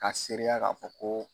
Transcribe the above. Ka sereya ka fɔ ko